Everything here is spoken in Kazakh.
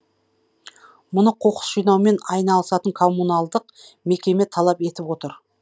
мұны қоқыс жинаумен айналысатын коммуналдық мекеме талап етіп отыр